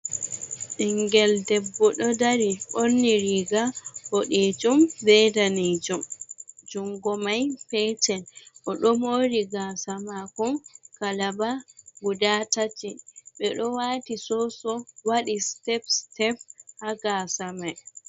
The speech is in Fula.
Ɓingel debbo ɗo dari ɓorni riga ɓodejum be danjum jungo mai petel, oɗo mori gasa mako kalaba guda tati ɓe ɗo wati soso waɗi step sep ha gasa mai.